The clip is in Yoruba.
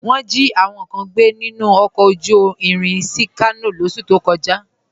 Wọn jí àwọn kàn gbẹ̀ nínu ọkọ̀ ojú ìrìn sí Kàno lọsú tó kọ̀já